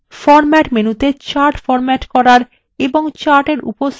format মেনুতে chart format করার